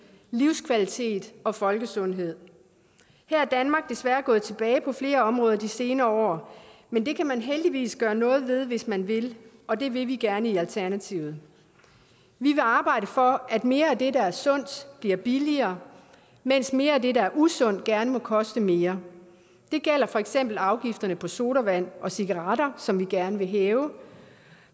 livskvalitet og folkesundhed her er danmark desværre gået tilbage på flere områder de senere år men det kan man heldigvis gøre noget ved hvis man vil og det vil vi gerne i alternativet vi vil arbejde for at mere af det der er sundt bliver billigere mens mere af det der er usundt gerne må koste mere det gælder for eksempel afgifterne på sodavand og cigaretter som vi gerne vil hæve